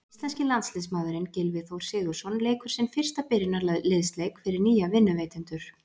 Íslenski landsliðsmaðurinn Gylfi Þór Sigurðsson leikur sinn fyrsta byrjunarliðsleik fyrir nýja vinnuveitendur.